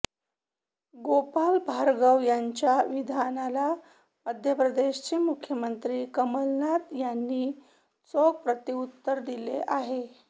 गोपाल भार्गव यांच्या विधानाला मध्यप्रदेशचे मुख्यमंत्री कमलनाथ यांनी चोख प्रत्युत्तर दिले आहे